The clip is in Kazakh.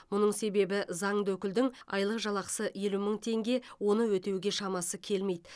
мұның себебі заңды өкілдің айлық жалақысы елу мың теңге оны өтеуге шамасы келмейді